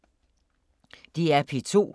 DR P2